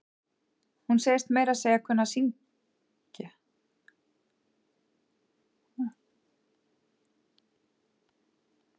Hún segist meira að segja kunna að syngj.